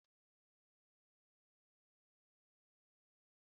Ị ma na akụkọ gị di nzuzu ka ị bụ?